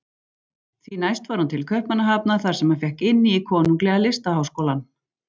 Því næst fór hann til Kaupmannahafnar þar sem hann fékk inni í Konunglega listaháskólann.